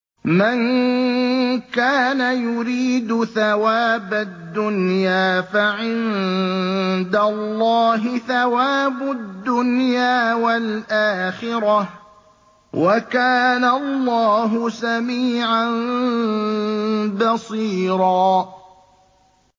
مَّن كَانَ يُرِيدُ ثَوَابَ الدُّنْيَا فَعِندَ اللَّهِ ثَوَابُ الدُّنْيَا وَالْآخِرَةِ ۚ وَكَانَ اللَّهُ سَمِيعًا بَصِيرًا